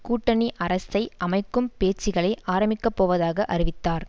கூட்டணி அரசை அமைக்கும் பேச்சுக்களை ஆரம்பிக்கப்போவதாக அறிவித்தார்